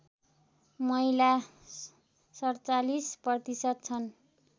महिला ४७ प्रतिशत छन्